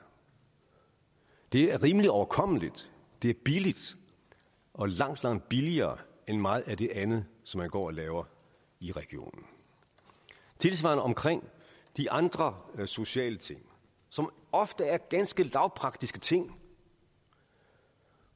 det er rimelig overkommeligt det er billigt og langt langt billigere end meget af det andet som man går og laver i regionen tilsvarende omkring de andre sociale ting som ofte er ganske lavpraktiske ting